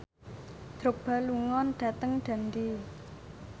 Drogba lunga dhateng Dundee